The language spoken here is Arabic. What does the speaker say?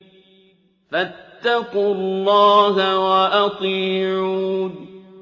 فَاتَّقُوا اللَّهَ وَأَطِيعُونِ